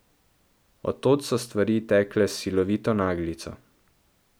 Od tod so stvari tekle s silovito naglico.